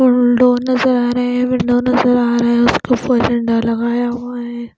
Door नज़र आ रहे है विंडो नज़र आ रहे है उसके ऊपर झंडा लगाया हुआ नज़र आ रहाहै।